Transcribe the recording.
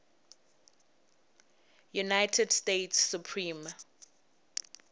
united states supreme